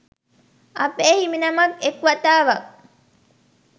අපේ හිමිනමක් එක් වතාවක්